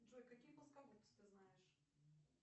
джой какие плоскогубцы ты знаешь